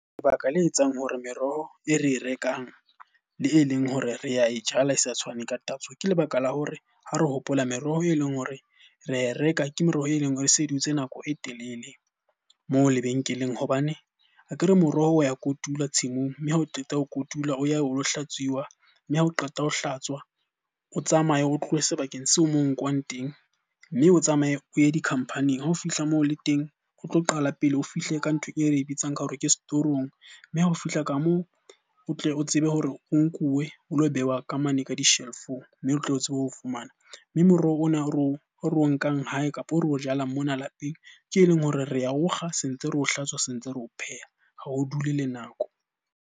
Lebaka le etsang hore meroho e re e rekang le e leng hore re ae jala e sa tshwane ka tatso. Ke lebaka la hore ha re hopola meroho e leng hore ra e reka, ke meroho e leng hore e se dutse nako e telele moo lebenkeleng. Hobane akere moroho o ya kotula tshimong, mme ha o qeta ho kotula o ya o lo hlatswiwa. Mme ha o qeta ho hlatswa, o tsamaye o tlohe sebakeng seo moo nkuwang ten. Mme o tsamaye o ye di-company-ing. Ha o fihla moo le teng o tlo qala pele o fihle ka ntho e re bitsang ka hore ke store room, mme ha o fihla ka moo o tle o tsebe hore o nkuwe o lo behwa ka mane ka di-shelf-ong mme o tlo tsebe ho fumana. Mme moroho ona o re o nkang hae, kapa o re o jalang mona lapeng. Ke e leng hore re ao kga, se ntse re o hlatswa, se ntse re o pheha. Ha o dule le nako.